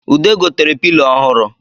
Ude gotere pilo ọhụrụ